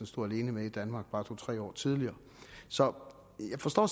stod alene med i danmark bare to tre år tidligere så jeg forstår